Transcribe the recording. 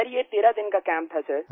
sir ये 13 दिन का कैम्प का था सर